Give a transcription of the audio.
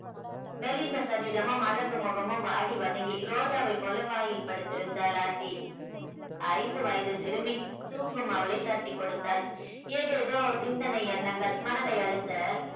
மெலிந்த சரீரமும் அழகு முகமும் வாடி வதங்கி ரோஜாவை போல பாயில் படுத்திருந்தாள் ஆர்த்தி ஐந்து வயது சிறுமி தூங்கும் அவளை தட்டிக்கொடுத்தாள். ஏதேதோ சிந்தனை எண்ணங்கள் மனதை அழுத்த